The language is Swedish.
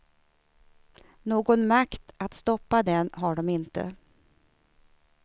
Någon makt att stoppa den har de inte.